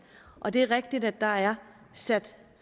og det er rigtigt at der er sat